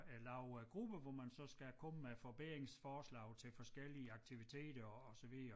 Øh laver gruppe hvor man så skal komme med forbedringsforslag til forskellige aktiviteter og så videre